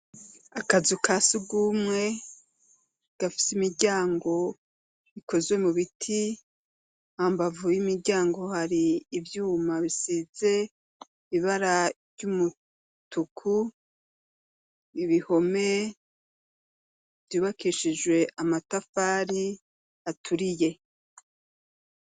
Akazu ka sugumwe gafis'imiryango ikozwe mubiti hambavu y'imiryango hari ivyuma bisize ibara ry'umutuku , ibihome vyubakishijwe amatafari aturiye.